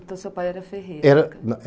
Então seu pai era ferreiro. Era